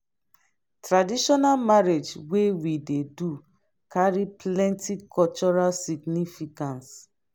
traditional marriage wey we dey do carry plenty cultural significance